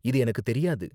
இது எனக்கு தெரியாது.